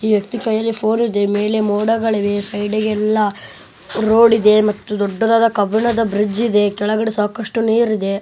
ಈ ವ್ಯಕ್ತಿ ಕೈಯಲ್ಲಿ ಫೋನ್ ಇದೆ ಮೇಲೆ ಮೂಡಗಳಿವೆ ಸೈಡಿ ಗೆಲ್ಲ ರೋಡ್ ಇದೆ ಮತ್ತು ದೊಡ್ಡದಾದ ಕಬ್ಬಿಣದ ಬ್ರಿಡ್ಜ್ ಇದೆ ಕೆಳಗಡೆ ಸಾಕಷ್ಟು ನೀರಿದೆ .